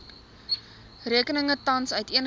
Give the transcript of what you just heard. rekeninge tans uiteengesit